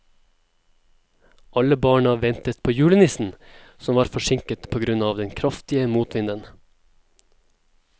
Alle barna ventet på julenissen, som var forsinket på grunn av den kraftige motvinden.